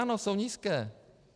Ano, jsou nízké.